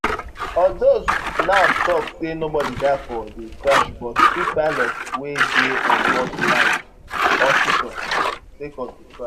although naf tok say nobody die for di crash but two pilots wey dey onboard land hospital sake of di crash